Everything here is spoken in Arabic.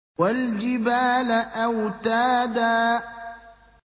وَالْجِبَالَ أَوْتَادًا